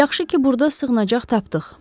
Yaxşı ki, burda sığınacaq tapdıq.